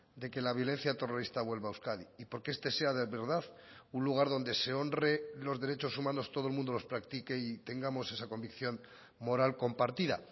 de que la violencia terrorista vuelva a euskadi y porque este sea de verdad un lugar donde se honre los derechos humanos todo el mundo los practique y tengamos esa convicción moral compartida